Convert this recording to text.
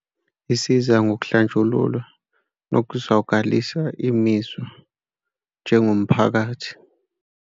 Isiza ngokuhlanjululwa nokuzwakalisa imizwa njengomphakathi.